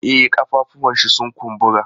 E, ƙafafuwanshi sun kumbura.